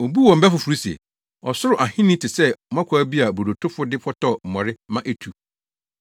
Obuu wɔn bɛ foforo se, “Ɔsoro Ahenni te sɛ mmɔkaw bi a brodotofo de fɔtɔw mmɔre ma etu.”